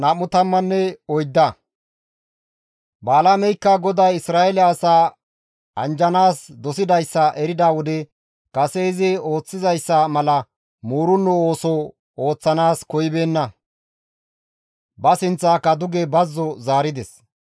Balaameykka GODAY Isra7eele asaa anjjanaas dosidayssa erida wode kase izi ooththizayssa mala muurenno ooso ooththanaas koyibeenna; ba sinththaaka duge bazzo zaarides.